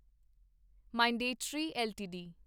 Mindtree LTD